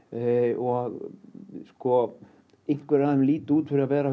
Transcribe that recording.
og og einhverjir af þeim líta út fyrir að vera